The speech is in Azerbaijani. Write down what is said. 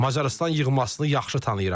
Macarıstan yığmasını yaxşı tanıyıram.